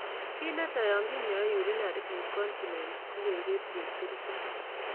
Kit netai yon kinyoe urinary incontinence ko keger chepkirichot